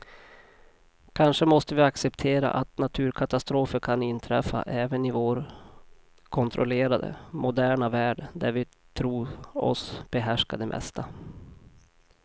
Kanske måste vi acceptera att naturkatastrofer kan inträffa även i vår kontrollerade, moderna värld där vi tror oss behärska det mesta.